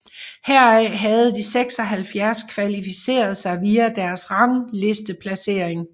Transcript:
Heraf havde de 76 kvalificeret sig via deres ranglisteplacering